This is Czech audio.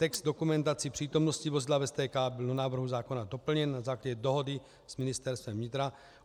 Text dokumentace přítomnosti vozidla v STK byl do návrhu zákona doplněn na základě dohody s Ministerstvem vnitra.